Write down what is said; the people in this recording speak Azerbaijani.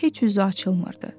Heç üzü açılmırdı.